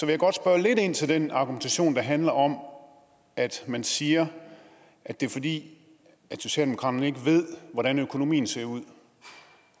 jeg godt spørge lidt ind til den argumentation der handler om at man siger at det er fordi socialdemokraterne ikke ved hvordan økonomien ser ud